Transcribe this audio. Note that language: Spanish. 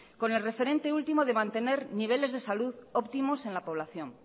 con el referente último de mantener niveles de salud óptimos en la población